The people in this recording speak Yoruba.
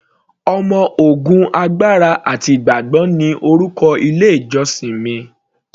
Ọmọ ogun agbára ti ìgbàgbọ́ ni orúkọ ilé ìjósìn mi.